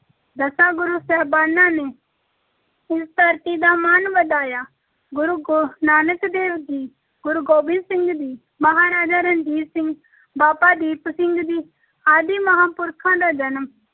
ਦਸਾਂ ਗੁਰੂ ਸਾਹਿਬਾਨਾਂ ਨੇ ਇਸ ਧਰਤੀ ਦਾ ਮਾਣ ਵਧਾਇਆ, ਗੁਰੂ ਗੋ ਨਾਨਕ ਦੇਵ ਜੀ, ਗੁਰੂ ਗੋਬਿੰਦ ਸਿੰਘ ਜੀ, ਮਹਾਰਾਜਾ ਰਣਜੀਤ ਸਿੰਘ ਬਾਬਾ ਦੀਪ ਸਿੰਘ ਜੀ ਆਦਿ ਮਹਾਪੁਰਖਾਂ ਦਾ ਜਨਮ